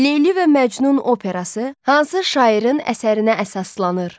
Leyli və Məcnun operası hansı şairin əsərinə əsaslanır?